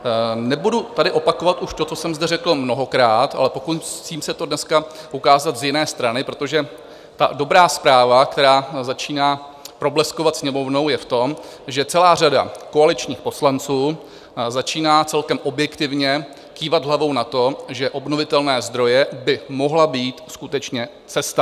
Nebudu tady opakovat už to, co jsem zde řekl mnohokrát, ale pokusím se to dneska ukázat z jiné strany, protože ta dobrá zpráva, která začíná probleskovat Sněmovnou, je v tom, že celá řada koaličních poslanců začíná celkem objektivně kývat hlavou na to, že obnovitelné zdroje by mohla být skutečně cesta.